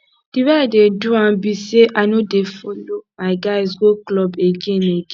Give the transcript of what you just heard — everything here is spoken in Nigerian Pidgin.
the way i dey do am be say i no dey follow my guys go club again again